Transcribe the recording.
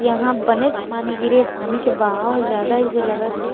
यहा बनेच पानी गिरे हे पानी के बहाव ज्यादा हे तइसे लगत हे ।--